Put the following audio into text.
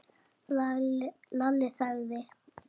Lalli þagði.